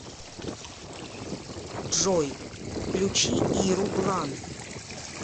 джой включи иру блан